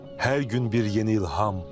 Hər gün bir yeni ilham.